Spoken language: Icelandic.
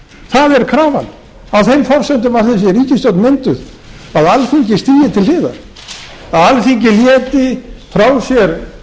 það er krafan á þeim forsendum af því að þessi ríkisstjórn vildi að alþingi stigi til hliðar að alþingi léti frá sér